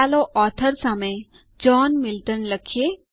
ચાલો ઓથોર સામે John Milton લખીએ